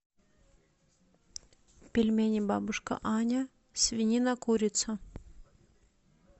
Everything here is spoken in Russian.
пельмени бабушка аня свинина курица